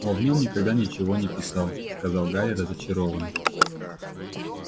он в нем никогда ничего не писал сказал гарри разочарованно